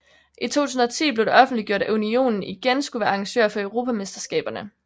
I 2010 blev det offentliggjort at unionen igen skulle være arrangør for europamesterskaberne